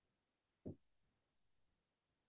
কিতাপ পঢ়ি ভাল পাওঁ